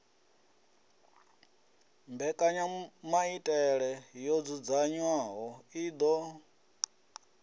mbekanyamaitele yo dzudzanywaho i ḓo